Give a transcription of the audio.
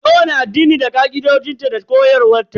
Kowani addini da ka'idojinta da koyarwa ta.